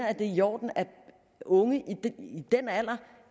er i orden at unge